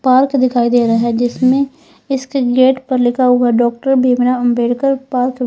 park दिखाई दे रहा है जिसमें इसके गेट पर लिखा हुआ डॉक्टर भीमराव अंबेडकर पार्क --